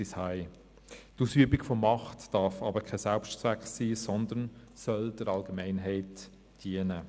Die Ausübung von Macht darf jedoch kein Selbstzweck sein, sondern soll der Allgemeinheit dienen.